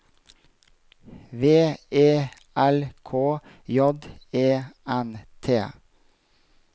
V E L K J E N T